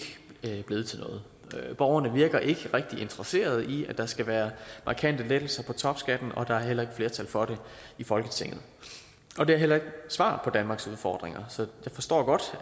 blevet til noget borgerne virker ikke rigtig interesseret i at der skal være markante lettelser af topskatten og der er heller ikke flertal for det i folketinget det er heller ikke svaret på danmarks udfordringer så jeg forstår godt